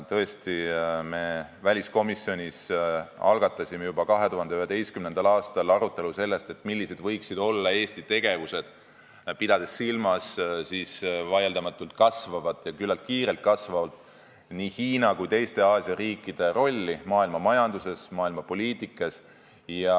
Tõesti, me väliskomisjonis algatasime juba 2011. aastal arutelu, millised võiksid olla Eesti tegevused, pidades silmas vaieldamatult ja küllaltki kiirelt kasvavate Hiina ja ka teiste Aasia riikide rolli maailmamajanduses, maailmapoliitikas.